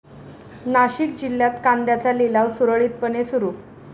नाशिक जिल्ह्यात कांद्याचा लिलाव सुरळीतपणे सुरू